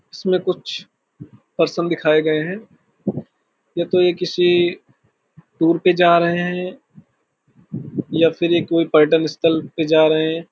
इसमें कुछ पर्सन दिखाए गए हैं या तो ये किसी टूर पे जा रहे हैं या फिर कोई पर्यटन स्थल पे जा रहे है।